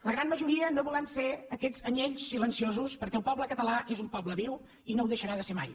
la gran majoria no volem ser aquests anyells silenciosos perquè el poble català és un poble viu i no ho deixarà de ser mai